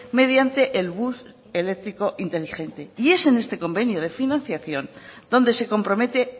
mediante el bus eléctrico inteligente y es en este convenio de financiación donde se compromete